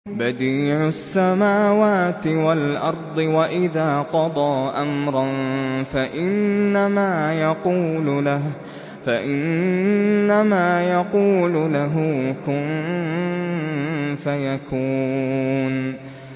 بَدِيعُ السَّمَاوَاتِ وَالْأَرْضِ ۖ وَإِذَا قَضَىٰ أَمْرًا فَإِنَّمَا يَقُولُ لَهُ كُن فَيَكُونُ